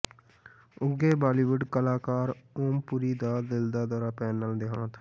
ਉਘੇ ਬਾਲੀਵੁਡ ਕਲਾਕਾਰ ਓਮ ਪੁਰੀ ਦਾ ਦਿਲ ਦਾ ਦੌਰਾ ਪੈਣ ਨਾਲ ਦਿਹਾਂਤ